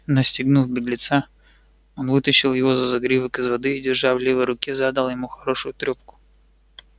настигнув беглеца он вытащил его за загривок из воды и держа в левой руке задал ему хорошую трёпку